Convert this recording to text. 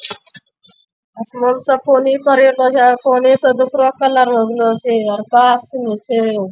आसमान सब पानी पड़े छे पानी से दूसरा कलर हो गेलो छे आर छे |